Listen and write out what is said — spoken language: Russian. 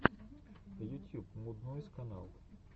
ютьюб муд нойз канал